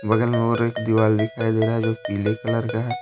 बगल में और एक दिवाली दिखाई दे रहा है जो पीले कलर का है।